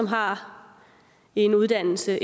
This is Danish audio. har en uddannelse har